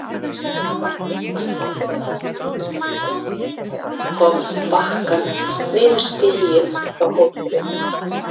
Hann horfði á hana útundan sér þegar hún kom með bakkann niður stíginn frá hótelinu.